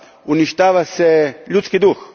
Uništava se ljudski duh.